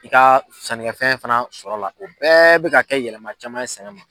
I ka sɛnɛkɛfɛn fana sɔrɔla la o bɛɛ bɛ ka kɛ yɛlɛma caman sɛnɛ ma